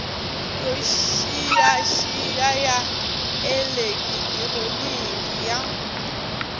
yo xiyaxiya ya elekitroniki ya